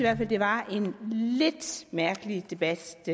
at det var en lidt mærkelig debat